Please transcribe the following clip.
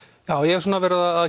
já ég hef verið að